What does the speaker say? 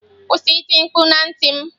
Kwụsị iti mkpu na ntị m.